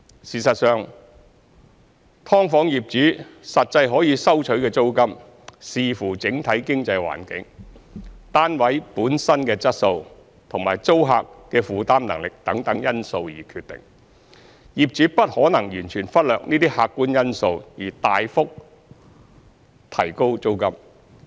事實上，"劏房"業主實際可以收取的租金，視乎整體經濟環境、單位本身的質素及租客的負擔能力等因素而決定，業主不可能完全忽略這些客觀因素而大幅提高租金。